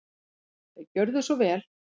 Gjörðu svo vel.